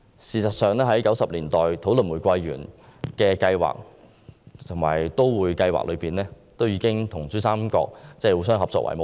事實上 ，1990 年代的玫瑰園計劃和都會計劃，已經以跟珠三角互相合作為目標。